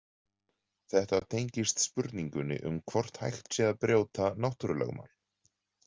Þetta tengist spurningunni um hvort hægt sé að brjóta náttúrulögmál.